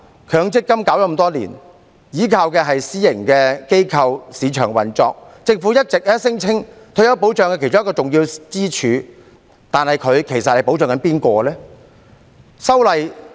強積金計劃推行多年，依靠的是私營機構、市場運作，而政府一直聲稱強積金計劃是退休保障的其中一根支柱，但我不禁要問，其實計劃在保障誰？